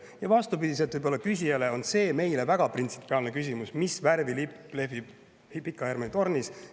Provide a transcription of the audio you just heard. Ja võib-olla vastupidiselt küsijale on meile väga printsipiaalne küsimus see, mis värvi lipp lehvib Pika Hermanni tornis.